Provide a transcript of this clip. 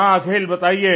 हाँ अखिल बताइए